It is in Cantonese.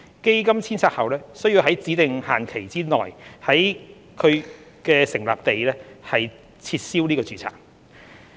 基金遷冊後須在指定限期內在其成立地撤銷註冊。